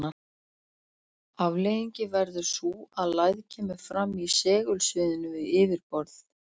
Afleiðingin verður sú að lægð kemur fram í segulsviðinu við yfirborð.